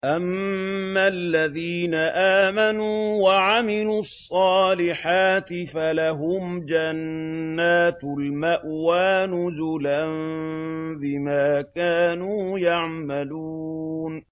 أَمَّا الَّذِينَ آمَنُوا وَعَمِلُوا الصَّالِحَاتِ فَلَهُمْ جَنَّاتُ الْمَأْوَىٰ نُزُلًا بِمَا كَانُوا يَعْمَلُونَ